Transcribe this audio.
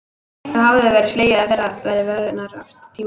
Þá hefur verið slegið af fyrra verði vörunnar, oft tímabundið.